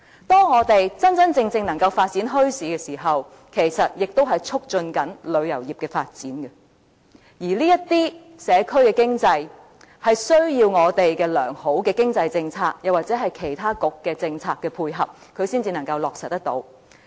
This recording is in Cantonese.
當我們能真正發展墟市時，其實亦在促進旅遊業的發展；而這些社區經濟活動需要我們的良好經濟政策或其他局的政策配合，才能得以落實。